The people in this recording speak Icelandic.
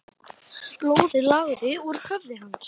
Blóðið lagaði úr höfði hans.